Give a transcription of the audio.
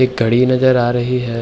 एक घड़ी नज़र आ रही है।